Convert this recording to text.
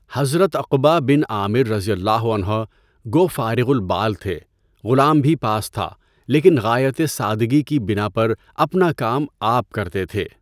حضرت عقبہ بن عامر رضی اللہ عنہ گو فارغُ البال تھے، غلام بھی پاس تھا، لیکن غایتِ سادگی کی بنا پر اپنا کام آپ کرتے تھے۔